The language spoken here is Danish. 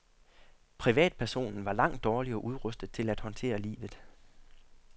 Privatpersonen var langt dårligere udrustet til at håndtere livet.